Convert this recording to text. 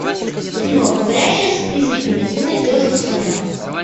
кино говорящая с призраками ты найдешь у себя